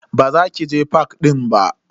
Ba za ki je fak din ba.